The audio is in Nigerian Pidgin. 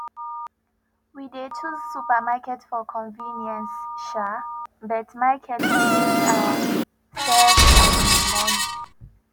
we dey choose supermarket for convenience um but market dey um save um money